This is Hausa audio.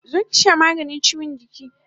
Zo ki sha maganin chiwon jiki!